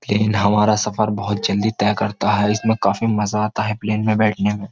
plane हमारा सफर बहुत जल्दी तय करता है इसमें काफी मजा आता है प्लेन में बैठने में --